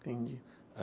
Entendi.